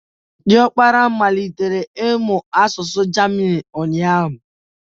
Ọkpara bee m malitere ịmụ asụsụ German ụnyahụ